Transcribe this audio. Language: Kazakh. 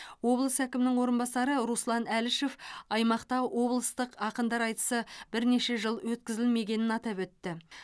облыс әкімінің орынбасары руслан әлішев аймақта облыстық ақындар айтысы бірнеше жыл өткізілмегенін атап өтті